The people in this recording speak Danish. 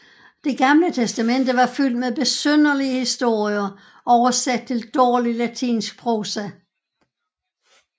Det gamle testamente var fyldt med besynderlige historier oversat til dårlig latinsk prosa